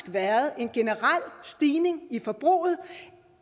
været en generel stigning i forbruget